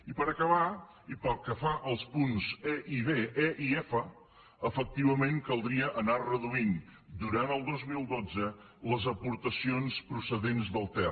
i per acabar i pel que fa als punts e i caldria anar reduint durant el dos mil dotze les aportacions procedents del ter